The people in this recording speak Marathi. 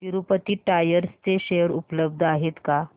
तिरूपती टायर्स चे शेअर उपलब्ध आहेत का